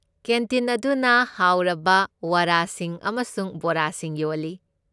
Canteen ꯑꯗꯨꯅ ꯍꯥꯎꯔꯕ ꯋꯥꯔꯥꯁꯤꯡ ꯑꯃꯁꯨꯡ ꯕꯣꯔꯥꯁꯤꯡ ꯌꯣꯜꯂꯤ꯫